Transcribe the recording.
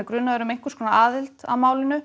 grunaður um einhvers konar aðild að málinu